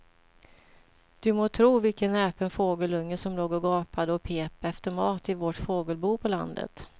Du må tro vilken näpen fågelunge som låg och gapade och pep efter mat i vårt fågelbo på landet.